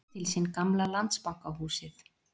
Leysir til sín gamla Landsbankahúsið